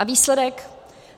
A výsledek?